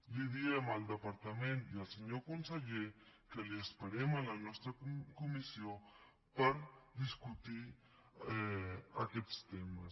diem al departament i al senyor conseller que l’esperem a la nostra comissió per discutir aquests temes